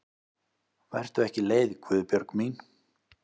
Vertu ekki leið Guðbjörg mín.